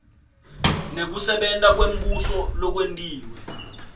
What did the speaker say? nekusebenta kwembuso lokwentiwe